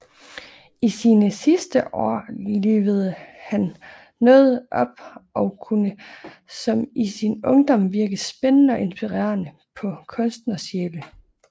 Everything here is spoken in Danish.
I sine sidste år livede han noget op og kunne som i sin ungdom virke spændende og inspirerende på kunstnersjæle